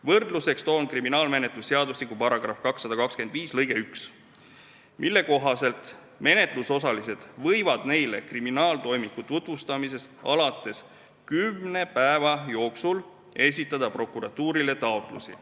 Võrdluseks toon kriminaalmenetluse seadustiku § 225 lõike 1, mille kohaselt menetlusosalised võivad neile kriminaaltoimiku tutvustamisest alates kümne päeva jooksul esitada prokuratuurile taotlusi.